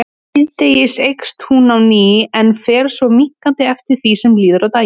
Síðdegis eykst hún á ný en fer svo minnkandi eftir því sem líður á daginn.